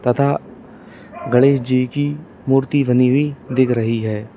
तथा गणेश जी की मूर्ति बनी हुई दिख रही है।